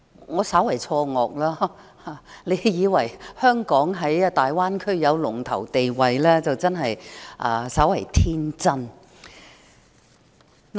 我稍為錯愕，若有人以為香港在大灣區有龍頭地位，真是稍為天真。